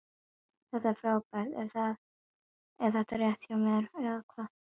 Þetta er frábært: er þetta rétt hjá mér eða hvað?